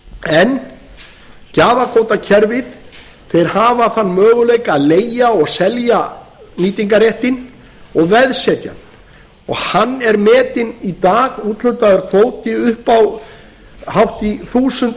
en gjafakvótakerfið þeir hafa þann möguleika að leigja og selja nýtingarréttinn og veðsetja hann og hann er metinn í dag úthlutaður kvóti upp á hátt í þúsund